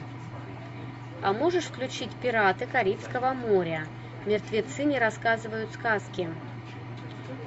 а можешь включить пираты карибского моря мертвецы не рассказывают сказки